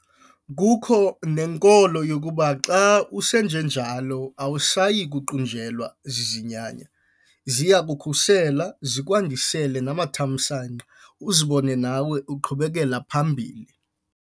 Kukho nenkolo yokuba xa usenjenjalo awusayi kuqunjelwa zizinyanya. Ziya kukukhusela zikwandisele namathamsanqa uzibone nawe uqhubekela phambili.